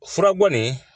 Furabɔ nin